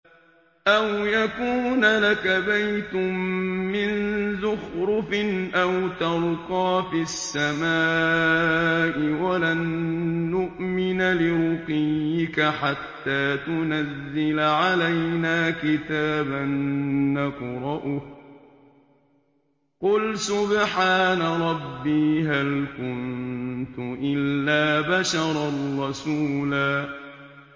أَوْ يَكُونَ لَكَ بَيْتٌ مِّن زُخْرُفٍ أَوْ تَرْقَىٰ فِي السَّمَاءِ وَلَن نُّؤْمِنَ لِرُقِيِّكَ حَتَّىٰ تُنَزِّلَ عَلَيْنَا كِتَابًا نَّقْرَؤُهُ ۗ قُلْ سُبْحَانَ رَبِّي هَلْ كُنتُ إِلَّا بَشَرًا رَّسُولًا